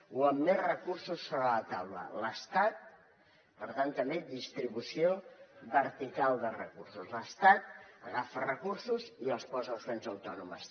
o amb més recursos sobre la taula per tant també distribució vertical de recursos l’estat agafa recursos i els posa a les comunitats autònomes